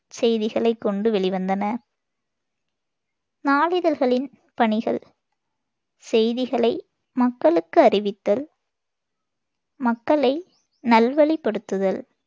செய்திகளைக் கொண்டு வெளிவந்தன நாளிதழ்களின் பணிகள் செய்திகளை மக்களுக்கு அறிவித்தல், மக்களை நல்வழிப்படுத்துதல்,